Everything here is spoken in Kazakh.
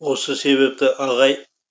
осы себепті ағай